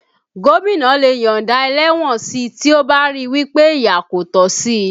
Gómìnà lè yọ̀nda ẹlẹ́wọ̀n si tí ó bá ríi wí pé ìyà kò tọ́ sí